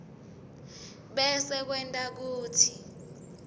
bese kwenta kutsi